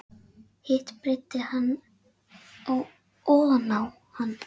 Hitt breiddi hann oná hann.